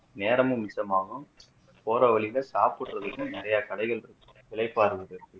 நேரமும் மிச்சமாகும் போற வழில சாப்பிடுறதுக்கும் நிறைய கடைகள் இருக்கும் இளைப்பாருறதுக்கு